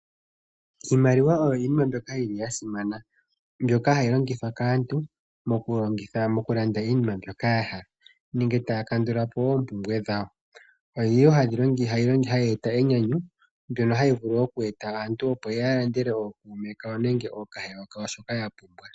Iimaliwa oyo iinima mbyoka yi li ya simana. Mbyoka hayi longithwa kaantu mokulanda iinima mbyoka ya hala nenge taya kandula po oompumbwe dhawo. Oyi li wo hayeeta enyanyu mbyono hayi vulu okweeta aantu opo ya landele ookuume kawo nenge ookahewa kawo shoka ya pumbwa.